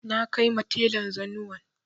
Na kaima telan zanuwan